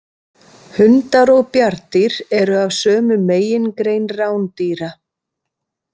Hundar og bjarndýr eru af sömu megingrein rándýra.